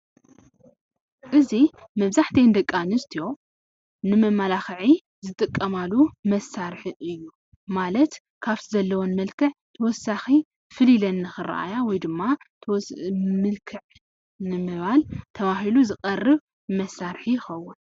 እዚ መብዛሕቲአን ደቂ ኣንስትዮ ንመመላኽዒ ዝጥቀማሉ መሳርሒ እዩ። ማለት ካብቲ ዘለወን መልክዕ ተወሳኺ ፍልይ ኢለን ንኽረአያ ወይ ድማ ምልክዕ ንምባል ተባሂሉ ዝቐርብ መሳርሒ ይኸውን።